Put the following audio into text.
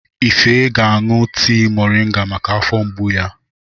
Ife ga-aṅụ tii mọrịnga maka afọ mgbu ya.